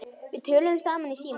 Við töluðum saman í síma.